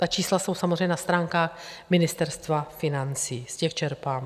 Ta čísla jsou samozřejmě na stránkách Ministerstva financí, z těch čerpám.